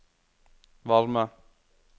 varme